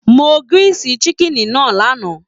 Mo grill chicken náà lánàá.